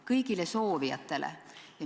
Kõigile soovijatele?